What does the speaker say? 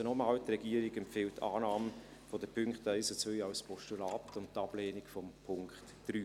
Also, noch einmal: Die Regierung empfiehlt Annahme der Punkte 1 und 2 als Postulat und die Ablehnung von Punkt 3.